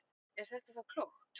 En er þetta þá klókt?